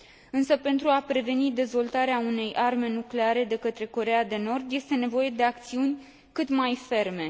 Însă, pentru a preveni dezvoltarea unei arme nucleare de către Coreea de Nord, este nevoie de acțiuni cât mai ferme.